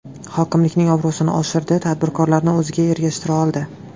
Hokimlikning obro‘sini oshirdi, tadbirkorlarni o‘ziga ergashtira oldi.